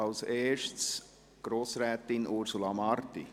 Als Erstes Grossrätin Ursula Marti.